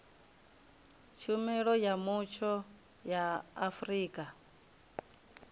tshumelo ya mutsho ya afrika